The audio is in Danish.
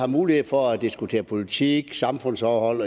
mulighed for at diskutere politik samfundsforhold